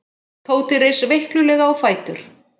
Tóti reis veiklulega á fætur.